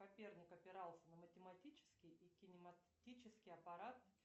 коперник опирался на математический и кинематический аппарат